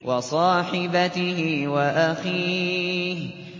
وَصَاحِبَتِهِ وَأَخِيهِ